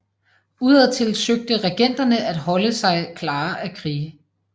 Udadtil søgte regenterne at holde sig klare af krige